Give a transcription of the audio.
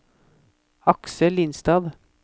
Aksel Lindstad